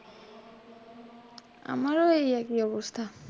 আমার এই একই অবস্থা।